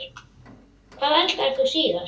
Hvað eldaðir þú síðast?